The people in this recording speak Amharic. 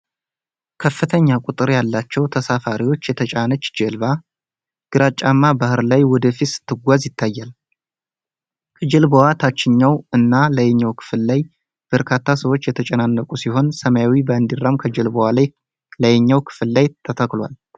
ከፍተኛ ቁጥር ያላቸው ተሳፋሪዎች የተጫነች ጀልባ ግራጫማ ባህር ላይ ወደፊት ስትጓዝ ይታያል። ከጀልባዋ ታችኛው እና ላይኛው ክፍል ላይ በርካታ ሰዎች የተጨናነቁ ሲሆን፣ ሰማያዊ ባንዲራም ከጀልባዋ ላይኛው ክፍል ላይ ተተክሏል።